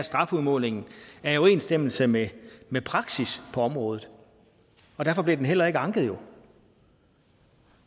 strafudmålingen er i overensstemmelse med med praksis på området derfor blev den jo heller ikke anket